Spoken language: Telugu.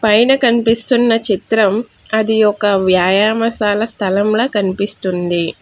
పైన కనిపిస్తున్న చిత్రం అది ఒక వ్యాయామశాల స్థలంలా కనిపిస్తుంది.